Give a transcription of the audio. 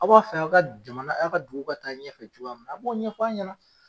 Aw b'a fɛ aw ka jamana aw ka dugu ka taa ɲɛfɛ cogoya min na, a b'o ɲɛf'an ɲɛna.